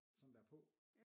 Sådan der på?